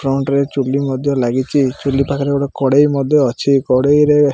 front ରେ ଚୁଲି ମଧ୍ୟ ଲାଗିଚି ଚୁଲି ପାଖରେ ଗୋଟେ କଡ଼େଇ ମଧ୍ୟ ଅଛି କଡ଼େଇ ରେ --